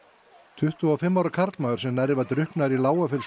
tuttugu og fimm ára karlmaður sem nærri var drukknaður í